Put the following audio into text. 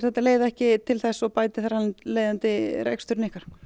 þetta leiði ekki til þess og bæti þar af leiðandi rekstur ykkar